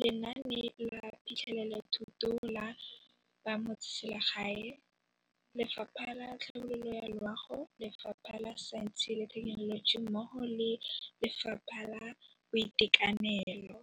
Lenaane la Phitlhelelothuto la Bamotseselegae, Lefapha la Tlhabololo ya Loago, Lefapha la Saense le Thekenoloji mmogo le Lefapha la Boitekanelo.